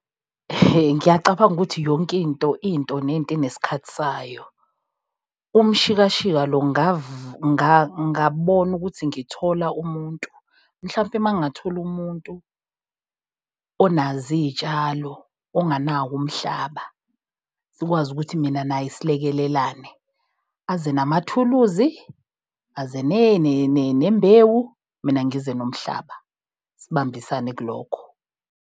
Ihe ngiyacabanga ukuthi yonkinto into nento inesikhathi sayo. Umshikashika lo ngabona ukuthi ngithola umuntu mhlampe mangingathola umuntu onazo iy'tshalo onganawo umhlaba. Sikwazi ukuthi mina naye silekelelane aze namathuluzi, aze nembewu, mina ngize nomhlaba sibambisane kulokho.